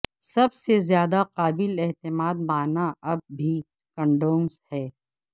سب سے زیادہ قابل اعتماد مانع اب بھی کنڈومز ہیں